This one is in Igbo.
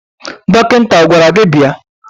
Dọkịta ọ gwara gị bịa?